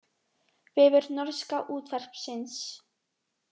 Vefur norska útvarpsins